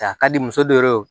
A ka di muso dɔ ye